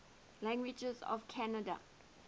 languages of canada